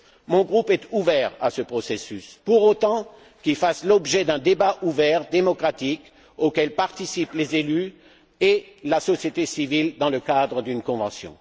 Mon groupe est ouvert à ce processus pour autant qu'il fasse l'objet d'un débat ouvert, démocratique, auquel participent les élus et la société civile dans le cadre d'une convention.